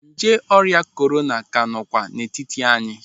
Nje ọrịa korona ka nọkwa n'etiti anyị.